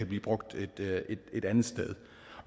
blive brugt et andet sted